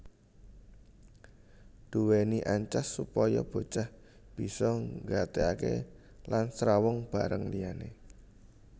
Duweni ancas supaya bocah bisa nggatekake lan srawung bareng liyane